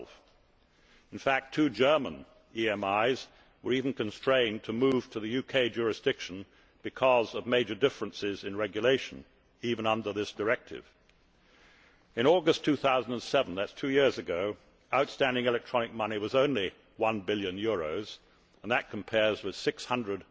12. In fact, two German EMIs were even constrained to move to the UK jurisdiction because of major differences in regulation, even under this directive. In August 2007 two years ago outstanding electronic money was only EUR 1 billion, and that compares with EUR 600